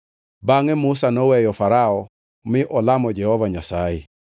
Bangʼe Musa noweyo Farao mi olamo Jehova Nyasaye,